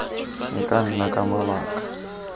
e ka nna ka mabaka